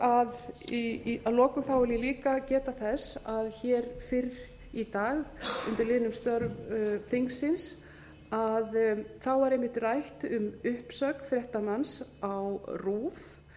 að lokum vil ég líka geta þess að hér fyrst í dag undir liðnum störf þingsins var einmitt rætt um uppsögn fréttamanns á rúv